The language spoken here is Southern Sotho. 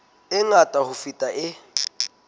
e ngata ho feta e